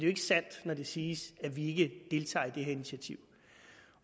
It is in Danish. ikke sandt når det siges at vi ikke deltager i det her initiativ